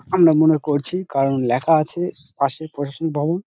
আমরা মনে করছি কারণ লেখা আছে পাশে প্রশাসনিক ভবন।